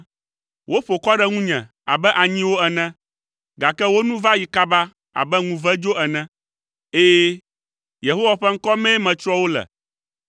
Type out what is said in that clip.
Woƒo kɔ ɖe ŋunye abe anyiwo ene, gake wo nu va yi kaba abe ŋuvedzo ene; ɛ̃, Yehowa ƒe ŋkɔ mee metsrɔ̃ wo le.